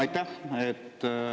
Aitäh!